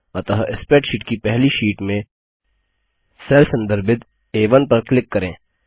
अतः स्प्रैडशीट की पहली शीट में सेल संदर्भित आ1 पर क्लिक करें